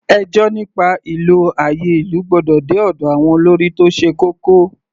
Ẹjọ́ nípa ìlò àyè ìlú gbọ́dọ̀ dé ọ̀dọ̀ àwọn olórí tó ṣe kókó.